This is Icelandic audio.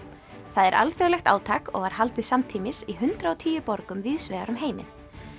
það er alþjóðlegt átak og var haldið samtímis í hundrað og tíu borgum víðs vegar um heiminn